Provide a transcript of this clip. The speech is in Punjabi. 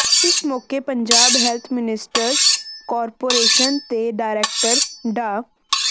ਇਸ ਮੌਕੇ ਪੰਜਾਬ ਹੈਲਥ ਸਿਸਟਮਜ਼ ਕਾਰਪੋਰੇਸ਼ਨ ਦੇ ਡਾਇਰੈਕਟਰ ਡਾ